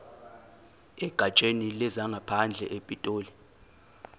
egatsheni lezangaphandle epitoli